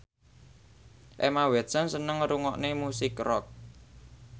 Emma Watson seneng ngrungokne musik rock